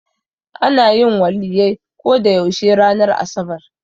Ana yin Waliyyai ko da yaushe ranar asabar.